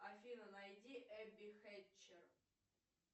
афина найди эбби хэтчер